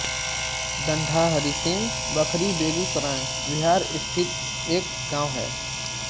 दंढाहरिसिंह बखरी बेगूसराय बिहार स्थित एक गाँव है